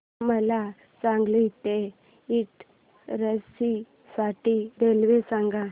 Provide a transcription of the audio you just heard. मला सांगली ते इटारसी साठी रेल्वे सांगा